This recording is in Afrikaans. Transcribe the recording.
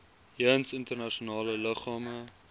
jeens internasionale liggame